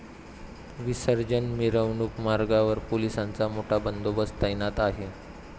विसर्जन मिरवणूक मार्गावार पोलिसांचा मोठा बंदोबस्त तैनात आहे.